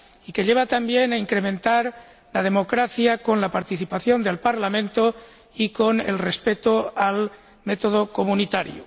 y que lleva también a incrementar la democracia, con la participación del Parlamento y con el respeto del método comunitario.